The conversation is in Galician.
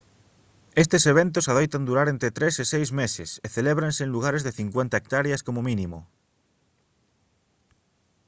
estes eventos adoitan durar entre tres e seis meses e celébranse en lugares de 50 hectáreas como mínimo